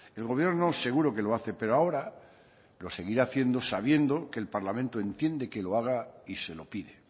el gobierno seguro que lo hace pero ahora lo seguirá haciendo sabiendo que el parlamento entiende que lo haga y se lo pide